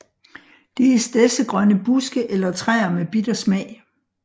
Det er stedsegrønne buske eller træer med bitter smag